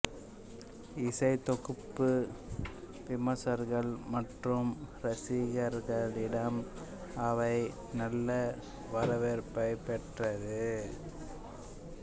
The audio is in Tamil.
இசைத்தொகுப்பு விமர்சகர்கள் மற்றும் ரசிகர்களிடம் அவேக் நல்ல வரவேற்பைப் பெற்றது